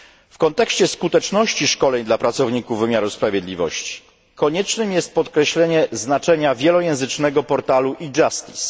W kontekście skuteczności szkoleń dla pracowników wymiaru sprawiedliwości koniecznym jest podkreślenie znaczenia wielojęzycznego portalu eJustice